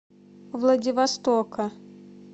владивостока